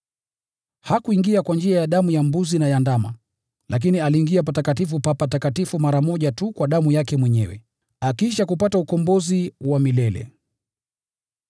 Hakuingia kwa njia ya damu ya mbuzi na ya ndama; lakini aliingia Patakatifu pa Patakatifu mara moja tu kwa damu yake mwenyewe, akiisha kupata ukombozi wa milele.